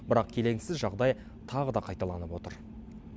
бірақ келеңсіз жағдай тағы да қайталанып отыр